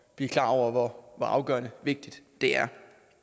blive klar over hvor afgørende vigtigt det er